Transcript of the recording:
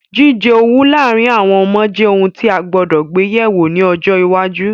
Jíjẹ owú láàrin àwon ọmọ je oun ti a gbúdọ̀ gbe yẹ̀wo ni ojo iwáju